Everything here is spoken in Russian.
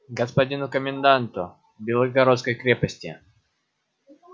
господину коменданту белогородской крепости